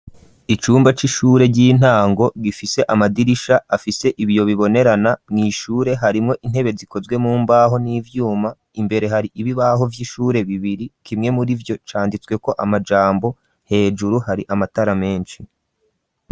Icumba c'ishure ry'intango gifise amadirisha afise ibiyo bibonerana mw'ishure harimwo intebe zikozwe mu mbaho n'ivyuma imbere hari ibibaho vy'ishure bibiri kimwe murivyo canditsweko amajambo hejuru hari amatara meshi.